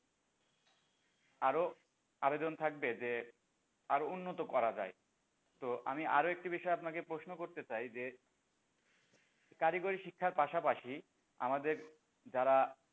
আরও আবেদন থাকবে যে আরো উন্নত করা যায় তো আমি আরও একটা বিষয়ে আপনাকে প্রশ্ন করতে চাই যে কারিগরি শিক্ষার পাশাপাশি আমাদের যারা,